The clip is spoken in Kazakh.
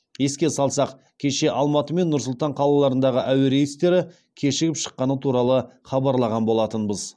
еске салсақ кеше алматы мен нұр сұлтан қалаларындағы әуе рейстері кешігіп шыққаны туралы хабарлаған болатынбыз